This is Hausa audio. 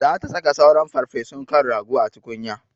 Za ta saka sauran farfesun kan rago a tukunya.